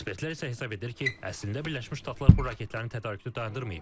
Ekspertlər isə hesab edir ki, əslində Birləşmiş Ştatlar bu raketlərin tədarükünü dayandırmayıb.